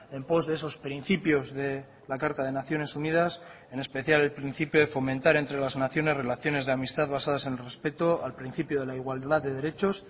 en pos de esos principios de la carta de naciones unidas en especial el principio de fomentar entre las naciones relaciones de amistad basadas en el respeto al principio de la igualdad de derechos